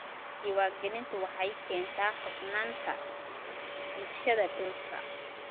Diiwaangelintu waxay keentaa hufnaanta iibsashada dhulka.